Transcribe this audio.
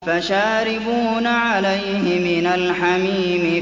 فَشَارِبُونَ عَلَيْهِ مِنَ الْحَمِيمِ